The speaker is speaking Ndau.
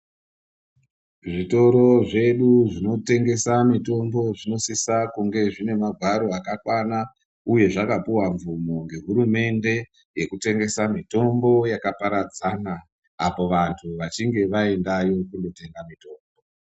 Zvitoro zvedu zvinotengesa mitombo zvinosisa kunge zvine magwaro akakwana iye zvakapiwa mvumo nehurumende yekutengesa mitombo yakaparadzana apo vantu vachinge vaendayo kundotenga mitombo.